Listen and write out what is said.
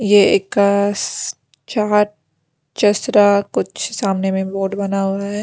ये इसका चाट चसरा कुछ सामने में बोर्ड बना हुआ है।